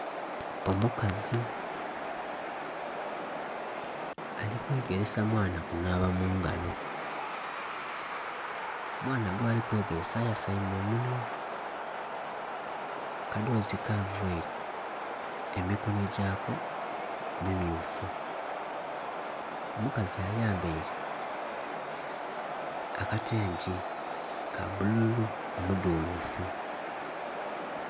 Omukazi ali kwegeresa mwaana kunhaba mungalo, omwaana gwali kwegeresa ayasaime omunhwa akadhozi kavaire emikonho gyako mi myufu, omukazi ayambaire akatengi ka bbululu omudhulufu.